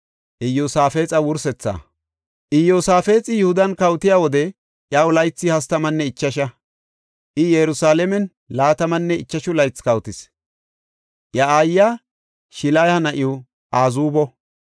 Iyosaafexi Yihudan kawotiya wode iya laythi hastamanne ichasha; I Yerusalaamen laatamanne ichashu laythi kawotis. Iya aayiya Shiliha na7iw Azuubo.